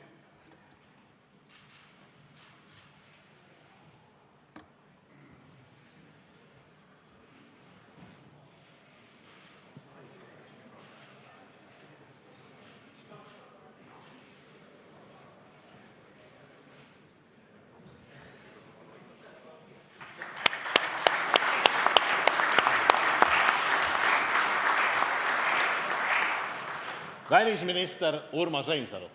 Välisminister Urmas Reinsalu.